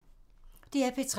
DR P3